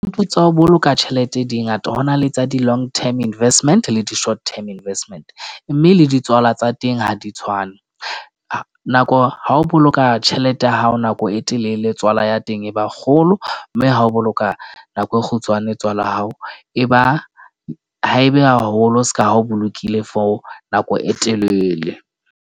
Moputso wa ho boloka tjhelete di ngata ho na le tsa di-long term investment le di-short term investment. Mme le ditswala tsa teng ha di tshwane. Nako ha o boloka tjhelete ya hao nako e telele, tswala ya teng e ba kgolo. Mme ha o boloka nako e kgutshwane, tswala ya hao e ba haebe haholo seka, o bolokile for nako e telele.